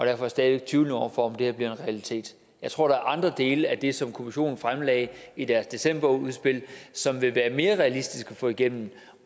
jeg stadig væk tvivlende over for om det her bliver en realitet jeg tror der er andre dele af det som kommissionen fremlagde i deres decemberudspil som vil være mere realistisk at få igennem